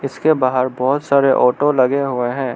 इसके बाहर बहोत सारे ऑटो लगे हुए हैं।